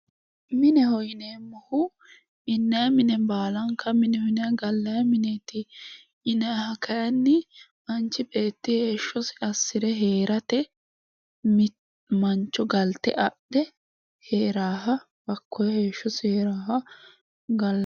mineho yineemmohu gallanni mine baalanka mineho yinanni gallanni mineeti yinanniha kayinni manchi beetti heeshshosi assire heerate mancho galte adhe heeraaha hakkoye heeshshosi heeraaha gal..